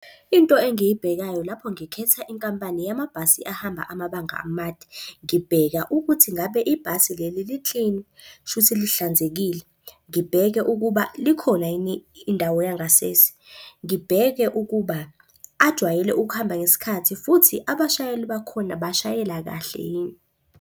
Into engiyibhekayo lapho ngikhetha inkampani yamabhasi ahamba amabanga amade, ngibheka ukuthi ngabe ibhasi leli li-clean, kushuthi lihlanzekile. Ngibheke ukuba likhona yini indawo yangasese, ngibheke ukuba ajwayele ukuhamba ngesikhathi, futhi abashayeli bakhona bashayela kahle yini.